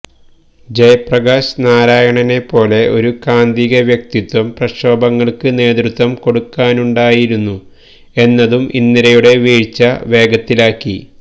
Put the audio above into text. ജയപ്രകാശ് നാരായണെപ്പോലെ ഒരു കാന്തിക വ്യക്തിത്വം പ്രക്ഷോഭങ്ങള്ക്ക് നേതൃത്വം കൊടുക്കാനുണ്ടായിരുന്നു എന്നതും ഇന്ദിരയുടെ വീഴ്ച വേഗത്തിലാക്കി